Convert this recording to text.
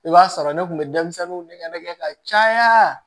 I b'a sɔrɔ ne kun bɛ denmisɛnninw nɛgɛ ka caya